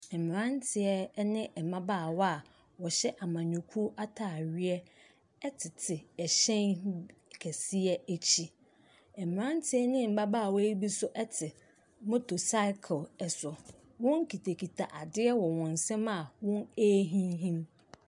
Mmeranteɛ ne mmabaawa a wɔhyɛ amanyɔkuo atadeɛ tete ɛhyɛn nn kaseɛ akyi. Mmeranteɛ ne mmabaawa yi bi nso te motorcycle so. Wɔkitakita adeɛ wɔ wɔn nsam a wɔrehinhim.